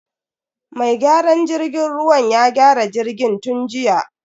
Mai gyaran jirgin ruwan ya gyara jirgin tun jiya.